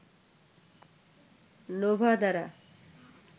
Nova দ্বারা